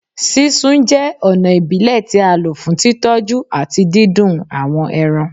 Sisun jẹ ọna ibile ti a lo fun titọju ati didùn awọn ẹran